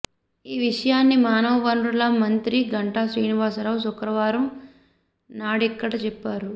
ఈ విషయాన్ని మానవ వనరుల మంత్రి గంటా శ్రీనివాసరావు శుక్రవారం నాడిక్కడ చెప్పారు